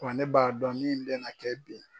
Wa ne b'a dɔn min bɛ na kɛ bi